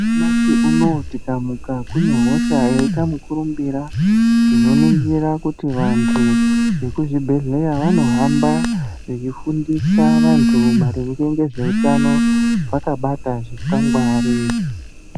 Nyamashi unou tikamuka kune hosha yaita mukurumbira, tinoningira kuti vantu vekuzvibhedhlera vanohamba vechifundisa antu maringe ngezveutano vakabata zvikwangwari.